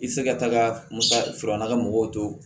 I tɛ se ka taaga musaka sɔrɔ na ka mɔgɔw to